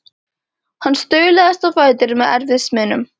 Hann staulaðist á fætur með erfiðismunum.